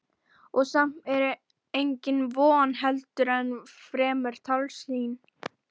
Og samt var það engin von heldur miklu fremur tálsýn.